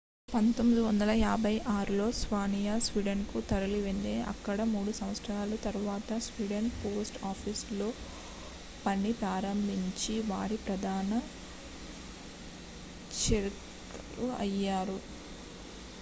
1956లో స్వానియా స్వీడన్ కు తరలివెళ్లింది అక్కడ మూడు సంవత్సరాల తరువాత స్వీడిష్ పోస్ట్ ఆఫీస్ లో పని ప్రారంభించి వారి ప్రధాన చెక్కారుఅయ్యారు